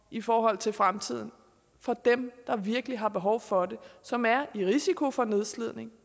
i forhold til fremtiden for dem der virkelig har behov for det og som er i risiko for nedslidning